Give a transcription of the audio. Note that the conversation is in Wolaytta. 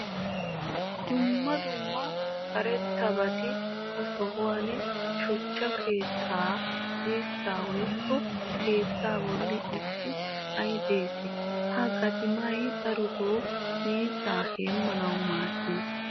dumma dumma karetabatti ha sohuwan shuchcha keetta dirsaa woykko keettaa bolli issi xam"ay des. ha gatimmay darotoo miizzaa heemanawu maadees.